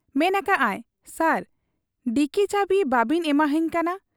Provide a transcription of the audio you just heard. ᱢᱮᱱ ᱟᱠᱟᱜ ᱟᱭ, 'ᱥᱟᱨ ᱰᱤᱠᱤ ᱪᱟᱹᱵᱤ ᱵᱟᱵᱤᱱ ᱮᱢᱟᱦᱟᱹᱧ ᱠᱟᱱᱟ ᱾